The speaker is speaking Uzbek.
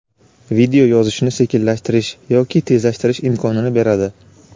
video yozishni sekinlashtirish yoki tezlashtirish imkonini beradi.